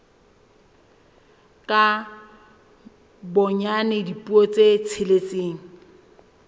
ka bonyane dipuo tse tsheletseng